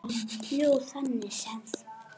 Jú, þannig séð.